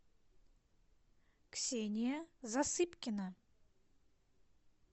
ксения засыпкина